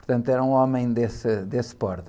Portanto, era um homem desse, desse porte.